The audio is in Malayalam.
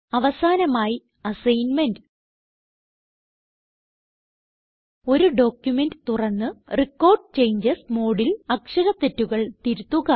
അവസാനമായി അസൈൻമെന്റ് ഒരു ഡോക്യുമെന്റ് തുറന്ന് റെക്കോർഡ് ചേഞ്ചസ് മോഡിൽ അക്ഷര തെറ്റുകൾ തിരുത്തുക